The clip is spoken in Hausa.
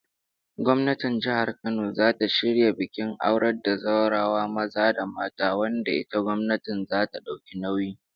Gwamnatin jihar Kano zata shirya bikin aurar da zawarawa maza da mata, wanda ita gwamnatin zata dauki nauyi